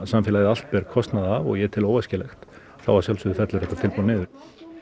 samfélagið allt ber kostnað af og ég tel óæskilegt þá að sjálfsögðu fellur þetta tilboð niður